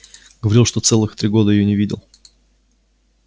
говорил что целых три года её не видел